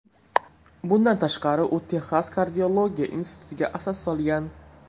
Bundan tashqari, u Texas kardiologiya institutiga asos solgan.